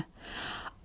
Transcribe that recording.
Ah!